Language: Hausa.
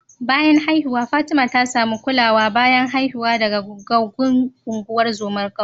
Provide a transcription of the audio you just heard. Bayan haihuwa Fatima ta samu kulawar bayan haihuwa daga gogaggun ungozomar kauyen